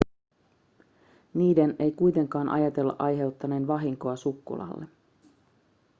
niiden ei kuitenkaan ajatella aiheuttaneen vahinkoa sukkulalle